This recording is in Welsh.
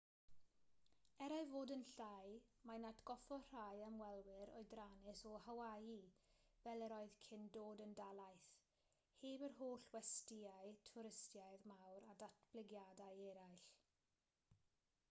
er ei fod yn llai mae'n atgoffa rhai ymwelwyr oedrannus o hawaii fel yr oedd cyn dod yn dalaith heb yr holl westyau twristaidd mawr a datblygiadau eraill